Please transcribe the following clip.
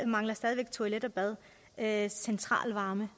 mangler stadig væk toilet bad eller centralvarme